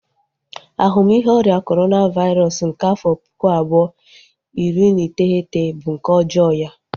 Ahumihe ọrịa Corona vairosụ nke afọ puku abuo, iri na iteghete bu nke ọjọọ ya